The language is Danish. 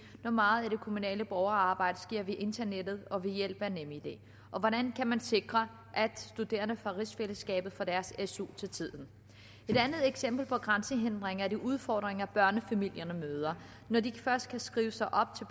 når meget af det kommunale borgerarbejde sker via internettet og ved hjælp af nemid og hvordan kan man sikre at studerende fra rigsfællesskabet får deres su til tiden et andet eksempel på grænsehindringer er de udfordringer børnefamilierne møder når de først kan skrives op til